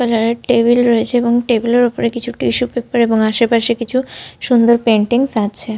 Purple কালারের table রয়েছে এবং টেবিল এর ওপর কিছু টিস্যু পেপার এবং আশেপাশে কিছু সুন্দর পেইন্টিংস আছে।